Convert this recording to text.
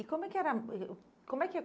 E como é que era? Como é que